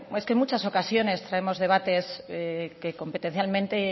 es que en muchas ocasiones traemos debates que competencialmente